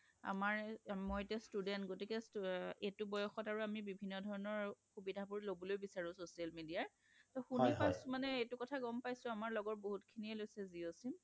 আমাৰ মই এতিয়া Student গতিকে এইটো বয়সত আমি বিভিন্ন ধৰণৰ সুবিধা লবলৈ বিচাৰো social media ৰ টো শুনি পাইছোঁ মানে এইটো কথা গম পাইছো আমাৰ লগৰ বহুত খিনি এ লৈছে জিঅ' sim